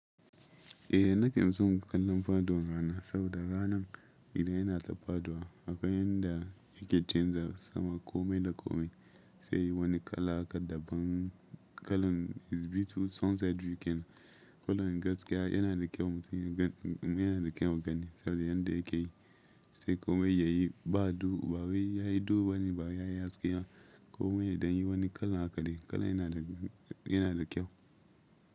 Eh nake son kallon faɗowan rana, saboda ranan idan yana ta fadowa akwai yanda yake canza sama komai da komai sai wani kala haka daban kalan is bitu sunset you can kalan gaskiya yana da kyau mutum yana da kyau gani saboda yanda yake yi sai komai yayi ba du ba wai yayi du wani ba yayi haske komai ya dan yi wani kala haka dai, kalan yana da yana da kyau.